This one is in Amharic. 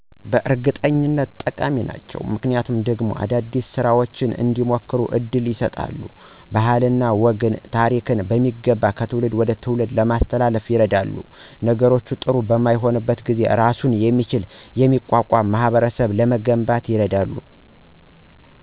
በእርግጠኝነት ጠቃሚ ናቸው። ምክንያቱ ደግሞ አዳዲስ ፈጠራዎች እንዲሞከሩ እድል ይሰጣሉ፣ ባህልንና ወግን፣ ታሪክን በሚገባ ከትውልድ ወደ ትውልድ ለማስተላለፍ ይረዳሉ። ነገሮች ጥሪ በማይሆኑበት ጊዜ እራሱን የሚችልና የሚቋቋም ማህበረሰብ ለመገንባት ይረዳሉ።